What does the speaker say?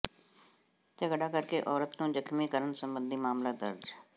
ਝਗੜਾ ਕਰਕੇ ਔਰਤ ਨੂੰ ਜ਼ਖ਼ਮੀ ਕਰਨ ਸਬੰਧੀ ਮਾਮਲਾ ਦਰਜ